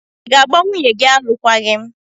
Ị́ ga-agba nwunye gị alụkwaghịm?